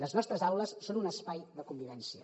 les nostres aules són un espai de convivència